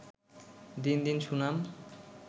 দিন দিন সুনাম